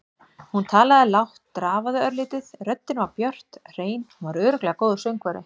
Hún talaði lágt, drafaði örlítið, röddin var björt, hrein- hún var örugglega góður söngvari.